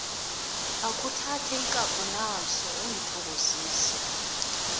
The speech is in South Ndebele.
akhuthathe ikapho naso ungithokozise